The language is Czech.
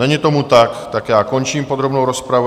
Není tomu tak, tak já končím podrobnou rozpravu.